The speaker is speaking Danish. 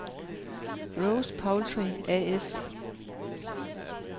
Rose Poultry A/S